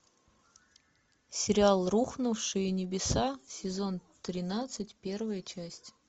сериал рухнувшие небеса сезон тринадцать первая часть